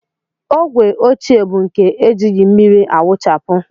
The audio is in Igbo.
Ogwe ochie bụ nke e jighị mmiri awụchapụ